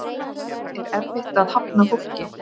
Er erfitt að hafna fólki?